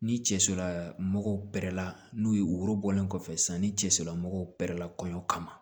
Ni cɛ sirila mɔgɔw bɛrɛla n'u ye worobɔlen kɔfɛ sisan ni cɛ solamɔgɔw kɛrɛ la kɔɲɔ kama